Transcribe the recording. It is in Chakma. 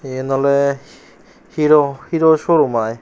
iyen ole hero showrum aai.